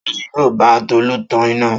Ta ni yóò bá Tolú tan iná?